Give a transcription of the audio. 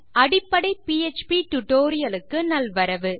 அடிப்படை PHP tutorial க்கு நல்வரவு